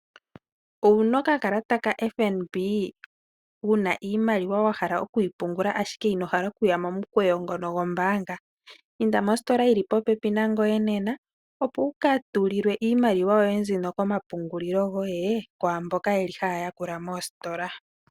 Owuna oka kalata kaFNB, wuna iimaliwa wa hala okuyi pungula ashike ino hala okuya momukweyo ngono gwombaanga? Inda mositola yili popepi nangoye nena opo wuka tulilwe iimaliwa yoye mbino komapungulilo goye kwaamboka yeli haya yakula moositola.